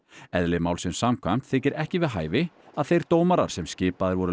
eðli málsins samkvæmt þykir ekki við hæfi að þeir dómarar sem skipaðir voru